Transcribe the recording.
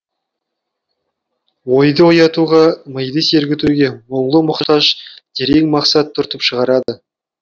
ойды оятуға миды сергітуге мұңлы мұқтаж терең мақсат түртіп шығарады